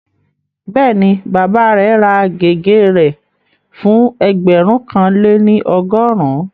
Bẹ́ẹ̀ni, bàbá rẹ̀ ra gègé rẹ̀ fún ẹgbẹ̀rún kan lé ní ọgọ́rùn-ún